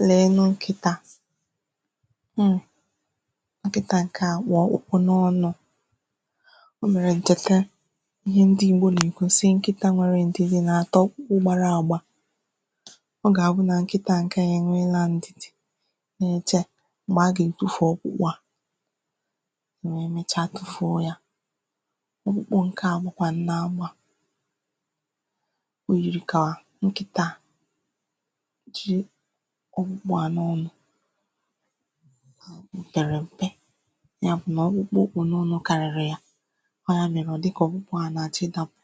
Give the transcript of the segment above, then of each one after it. ụlọ̀ elu nkịtā taa nkịtā ǹke a kpụ̀ ọkpụkpụ n’ọnụ̄ o nwèrè ǹkịta ihe ndị ìgbo nà-àkọ si nkịtā nwere ǹdị̀dị̀ nà-àta ọkpụkpụ gbara àgba ọ gà-àbụ nà nkịtā ǹke a è nweela ǹdìdì na-èche m̀gbè a gà-ètufù ọkpụkpọ a è wee mecha tufuo ya ọkpụkpụ ǹke a gbàkwà nnọ agbà o yìrì kà nkịta ji ọkpụkpọ a n’ọnụ pèrè m̀pe ya bụ̀ nà ọkpụkpụ o kpụ̀ n’ọnụ̄ kàrị̀rị̀ ya ọ ya nà-ème ọ̀ di kà ọkpụkpọ ahụ̀ ọ nà-àchọ ịdāpụ̀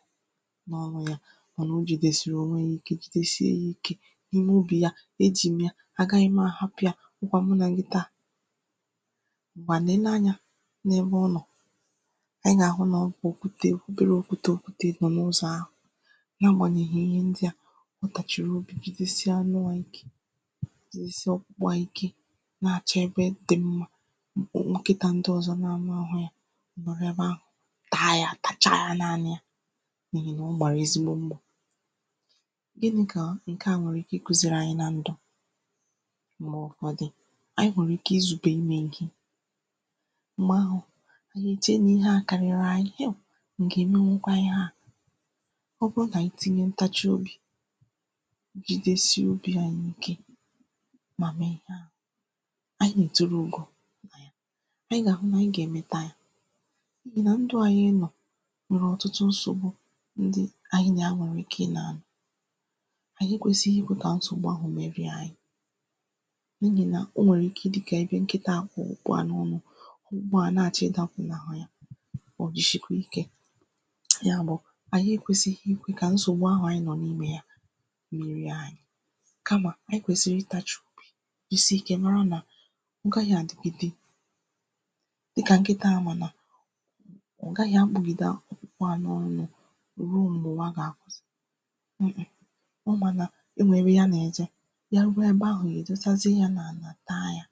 n’ọnụ̄ ya mànà o jìdèsìrì ònwe ya ike jìdèshie ya ike n’ime obì ya e jì m ya àgaghị m àhapụ ya ọ kwà mụ nà gi taa ngwa leenū ànyā n’ebe ọ nọ̀ ị gà-àhụ nà ọ bụ̀ òkwutē òkwutere òkwutē òkwutē nọ n’ụzọ̀ ahụ̀ na agbànyèghì ihe ndịa ọ kàchị̀rị̀ obì jìdesịa ànụ a ike jìdesịa ọkpụkpụ a ike na-àchọ ebe di mma mm nkịtā ndị ọ̀zọ na-amā nhụ yā ọ̀ nọ̀rọ̀ ebe ahụ̀ taa yā tacha ya n’ọnụ ya n’ihì nà ọ màrà ezigbo mmā ginī kà ǹke a nwèrè ike ịkụ̄zịrị anyị na ndù ma ọ̀ dì ànyị hụ̀rụ̀ ike izùbe nne gi m̀gbè ahụ̀ ìche na ihe a kàrịrị ànyị m gà-èmewukwa ihe a ọ bụrụ nà itinye ntachị obì jidesie obī anyị ike mà mègha anyị̀ gà-èturu ùgò anyị̀ gà-àhụ nà anyị gà-èmeta ya n’ihì nà ndu ànyị nọ̀ nwèrè ọ̀tụtụ nsògbu ndị anyị nà ya nwèrè ike ị nò ànyị ekwēsighi ikwe kà nsògbu ahụ̀ wee rie anyị n’ihì nà o nwèrè ike dịkà ebe nkịtā kpụ̀ ọkpụkpọ a n’ọnụ ọkpụkpọ a na-àchọ ịdāpụ̀nàghà ya ò jìshikwa ikē ya bụ̀ ànyị ekwēsighi ikwē kà nsògbu ahụ̀ anyị nọ̀ n’ime ya merie anyị kamà anyị kwèsìrì ịtāchị̀ jisie ikē mara nà dịkà nkịtā ahụ̀ nọ ọ gahị̄ abụgị̀da ọkpụkpọ a n’ọnụ̄ ya ruo m̀gbè ụwa gà-àbụ eme ịmā na e nwère ya n’àja ya ruo ebe ahụ̀ èdosazie ya n’àlà n’ahịa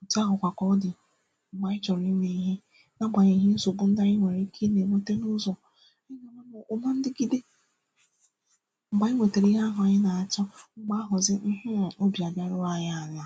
òtù ahụ̀kwa ka ọ dì m̀gbè anyị chọ̀rọ̀ imē ihe na-agbànyèghì nsògbu ndị anyị nwèrè ike ị na-ènwete n’ụzọ̀ ọ̀ ma ndịgide m̀gbè anyị nwètèrè ihe ahụ̀ anyị nà-àchọ m̀gbè ahụ̀zị mmmhh obì àlaruo anyị àlà